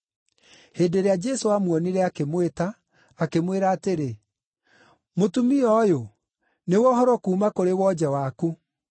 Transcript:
Hĩndĩ ĩrĩa Jesũ aamuonire, akĩmwĩta, akĩmwĩra atĩrĩ, “Mũtumia ũyũ nĩwohorwo kuuma kũrĩ wonje waku.”